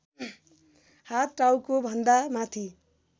हात टाउकोभन्दा माथि